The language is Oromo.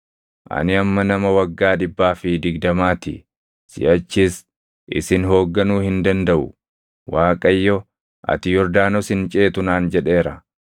“Ani amma nama waggaa dhibbaa fi digdamaa ti; siʼachis isin hoogganuu hin dandaʼu. Waaqayyo, ‘Ati Yordaanos hin ceetu’ naan jedheera.